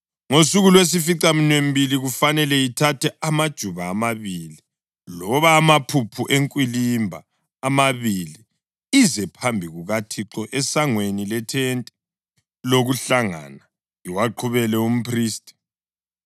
Ngosuku lwesificaminwembili kufanele ithathe amajuba amabili, loba amaphuphu enkwilimba amabili ize phambi kukaThixo esangweni lethente lokuhlangana, iwaqhubele umphristi.